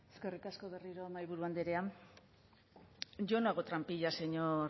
eskerrik asko berriro mahaiburu andrea yo no hago trampillas señor